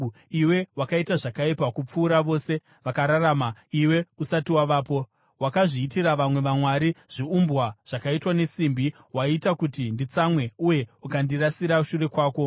Iwe wakaita zvakaipa kupfuura vose vakararama iwe usati wavapo. Wakazviitira vamwe vamwari, zviumbwa zvakaitwa nesimbi; waita kuti nditsamwe uye ukandirasira shure kwako.